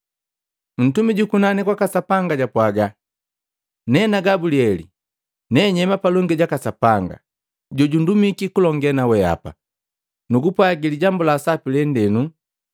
Ntumi jukunani kwaka Sapanga japwaga, “Nena Gabulieli. Nenyema palongi jaka Sapanga, jojundumiki kulonge naweapa, nugupwagila lijambu la sapi lende.